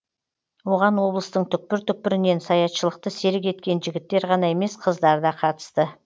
оған облыстың түкпір түкпірінен саятшылықты серік еткен жігіттер ғана емес қыздар да қатысты